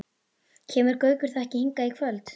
Kemur Gaukur þá ekki hingað í kvöld?